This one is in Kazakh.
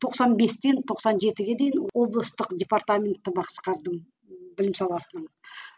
тоқсан бестен тоқсан жетіге дейін облыстық департаментті басқардым білім саласынан